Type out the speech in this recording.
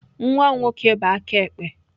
Nwa m nwoke bụ aka ekpe.